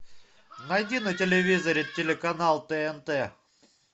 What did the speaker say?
найди на телевизоре телеканал тнт